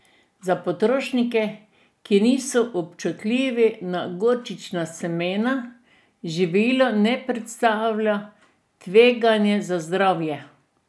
Za potrošnike, ki niso občutljivi na gorčična semena, živilo ne predstavlja tveganja za zdravje.